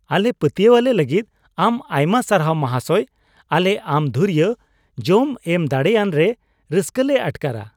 ᱟᱞᱮ ᱯᱟᱹᱛᱭᱟᱹᱣᱟᱞᱮ ᱞᱟᱹᱜᱤᱫ ᱟᱢ ᱟᱭᱢᱟ ᱥᱟᱨᱦᱟᱣ , ᱢᱟᱦᱟᱥᱚᱭ ᱾ ᱟᱞᱮ ᱟᱢ ᱜᱷᱩᱨᱤᱭᱟᱹ ᱡᱚᱢ ᱮᱢ ᱫᱟᱲᱮᱭᱟᱱ ᱨᱮ ᱨᱟᱹᱥᱠᱟᱹᱞᱮ ᱟᱴᱠᱟᱨᱼᱟ ᱾